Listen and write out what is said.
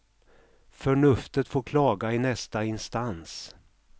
Förnuftet får klaga i nästa instans.